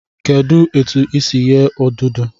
Kedụ etu e si eghe odudu?